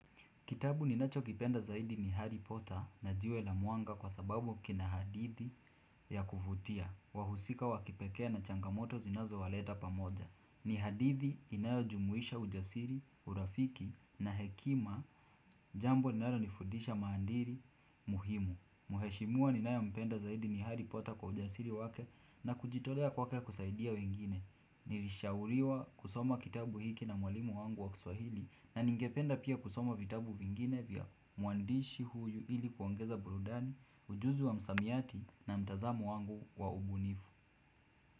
Kitabu ninachokipenda zaidi ni Harry Potter na jiwe la Mwanga kwa sababu kina hadithi ya kuvutia. Wahusika wa kipekee na changamoto zinazowaleta pamoja. Ni hadithi inayojumuisha ujasiri, urafiki na hekima jambo linalonifudisha maadili muhimu. Mheshimiwa ninayempenda zaidi ni Harry Potter kwa ujasiri wake na kujitolea kwake kusaidia wengine. Nilishauriwa kusoma kitabu hiki na mwalimu wangu wa kiswahili na ningependa pia kusoma vitabu vingine vya mwandishi huyu hili kuongeza burudani, ujuzi wa msamiati na mtazamo wangu wa ubunifu.